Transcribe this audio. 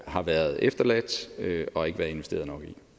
har været efterladt og ikke været investeret